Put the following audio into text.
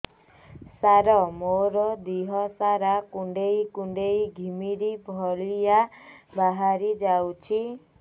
ସାର ମୋର ଦିହ ସାରା କୁଣ୍ଡେଇ କୁଣ୍ଡେଇ ଘିମିରି ଭଳିଆ ବାହାରି ଯାଉଛି